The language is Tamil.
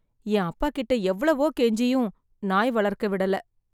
என் அப்பா கிட்ட எவ்வளவோ கெஞ்சியும் , நாய் வளர்க்க விடல.